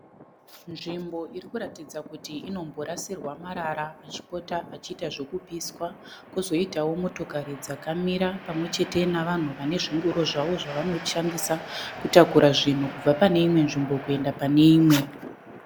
Nzvimbo irikutidza kuti inomborasirwa marara achipota achiitwa zvekupiswa. Kozoitawo motokari dzakamira pamwechete navanhu vane zvingoro zvavo zvavanoshandisa kutakura zvinhu kubva pane imwe nzvimbo kuenda pane imwe.